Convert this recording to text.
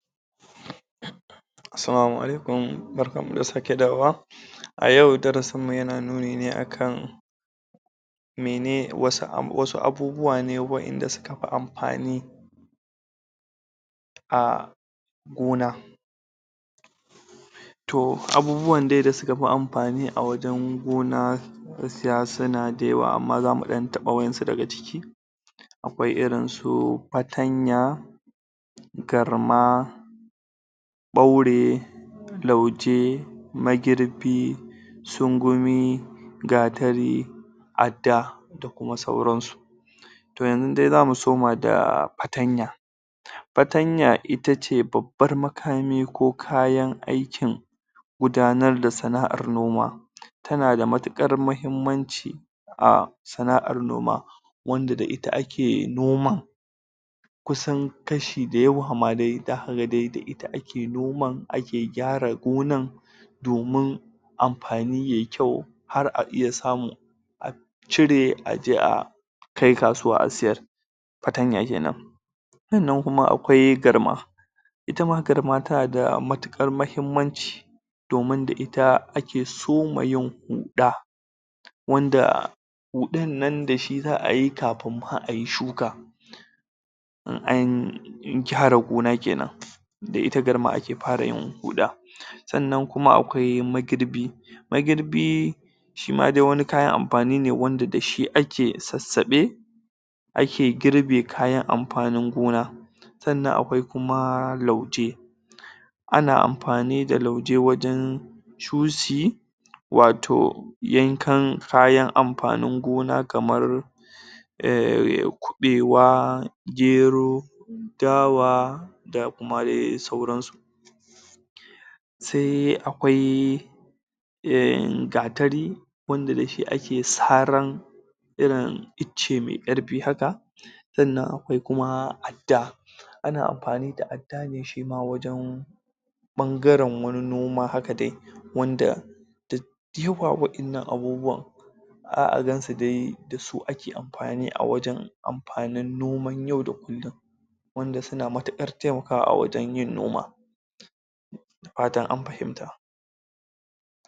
Salamu alaikum, Barkan mu da sake dawowa a yau darasin mu yana nuni ne akan mene, wasu um wasu abubuwa ne waɗanda suka fi amfani a gona to, abubuwan dai da suka fi amfani a wajan gona gaskiya suna da yawa, amma zamu ɗan taɓa wa'yansu daga ciki akwai irin su Fatanya Garma ɓaure Lauje Magirbi Sungumi Gatari Adda da kuma sauransu to yanzu dai zamu soma da Fatanya Fatanya itace babbar makami ko kayan aikin gudanar da sana'ar noma tana da matuƙar mahimmanci a sana'ar noma wanda da ita ake noman kusan kashi da yawa dai da, zaka ga dai da ita ake noman, ake gyara gonar domin amfani yayi kyau har a iya samu a cire aje a kai kasuwa a siyar Fatanya kenan sannan kuma akwai Garma itama garma tana da matuƙar mahimmanci domin da ita ake soma yin huɗa wanda huɗar nan da shi za'a yi kafin ma ayi shuka in an gyara goma kenan da ita Garma ake fara yin huɗa sannan kuma akwai Magirbi Magirbi shima dai wani kayan amfani ne wanda dashi ake sassaɓa ake girɓe kayan amfanin gona sannan akwai kuma Lauje ana amfani da Lauje wajan cuci wato yankan kayan amfanin gona kamar um kuɓewa Gero Dawa da kuma sauransu sai akwai um Gatari wanda dashi ake saran irin ice mai ƙarfi haka sannan akwai kuma Adda ana amfani da Adda ne shima wajan ɓangaren wani noma haka dai wanda dad diwa waɗannan abubuwan za'a gansu dai dasu ake amfani a wajan amfani noman yau da kullin wanda suna matuƙar taimakawa a wajan yin noma da fatan an fahimta